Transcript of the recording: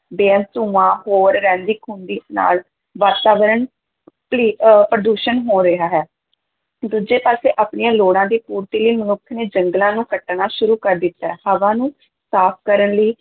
ਬੇਅੰਤ ਧੂੰਆਂ, ਹੋਰ ਰਹਿੰਦੀ-ਖੂੰਹਦੀ ਨਾਲ ਵਾਤਾਵਰਨ ਪਲੀ ਅਹ ਪ੍ਰਦੂਸ਼ਣ ਹੋ ਰਿਹਾ ਹੈ, ਦੂਜੇ ਪਾਸੇ ਆਪਣੀਆਂ ਲੋੜਾਂ ਦੀ ਪੂਰਤੀ ਲਈ ਮਨੁੱਖ ਨੇ ਜੰਗਲਾਂ ਨੂੰ ਕੱਟਣਾ ਸ਼ੁਰੂ ਕਰ ਦਿੱਤਾ, ਹਵਾ ਨੂੰ ਸਾਫ਼ ਕਰਨ ਲਈ